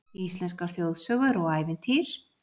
Íslenskar þjóðsögur og ævintýr